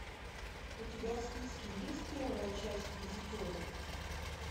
у тебя в списке есть первая часть визитеры